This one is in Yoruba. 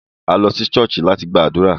A lo si ṣọ̀ọ́sì lati gbadura.